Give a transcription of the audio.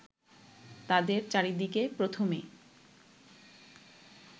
তাদের চারিদিকে প্রথমে